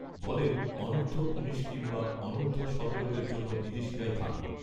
বলেন অনূধর্ব উনিশ কিংবা অনূর্ধ্ব সতেরোদের জন্য বিদেশিরাই ভাল